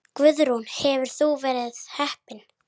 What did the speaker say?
Guðrún: Hefur þú verið heppin?